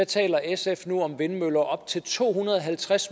taler sf nu om vindmøller på op til to hundrede og halvtreds